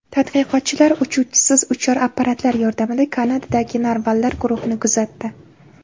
Tadqiqotchilar uchuvchisiz uchar apparatlar yordamida Kanadadagi narvallar guruhini kuzatdi.